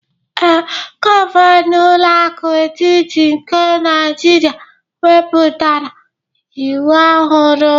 Ee, gọvanọ ụlọ akụ etiti nke Naijiria wepụtara iwu ohuru.